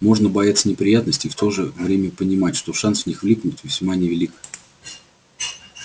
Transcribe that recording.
можно бояться неприятностей и в то же время понимать что шанс в них влипнуть весьма невелик